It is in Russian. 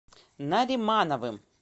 наримановым